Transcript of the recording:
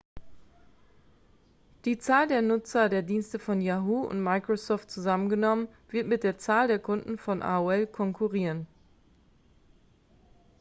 die zahl der nutzer der dienste von yahoo und microsoft zusammengenommen wird mit der zahl der kunden von aol konkurrieren